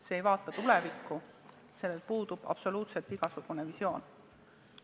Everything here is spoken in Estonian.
See ei vaata tulevikku, sellel puudub absoluutselt igasugune visioon.